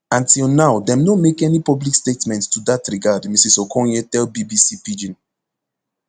and till now dem no make any public statement to dat regard mrs okonye tell bbc pidgin